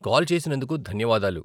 Call చేసినందుకు ధన్యవాదాలు.